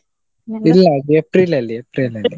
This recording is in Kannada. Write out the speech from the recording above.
ಅದು April ಅಲ್ಲಿ April .